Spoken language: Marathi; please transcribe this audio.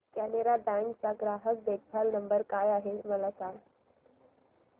कॅनरा बँक चा ग्राहक देखभाल नंबर काय आहे मला सांगा